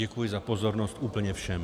Děkuji za pozornost úplně všem.